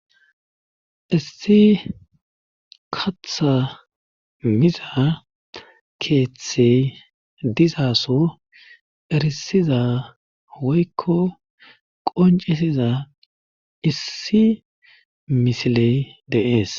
Issi katha miza keeththey dizaso erisiza woykko qoncisiza issi misiley deees